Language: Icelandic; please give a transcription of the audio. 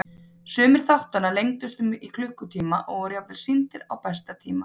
Sumir þáttanna lengdust upp í klukkutíma og voru jafnvel sýndir á besta tíma.